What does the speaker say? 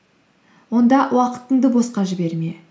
онда уақытыңды босқа жіберме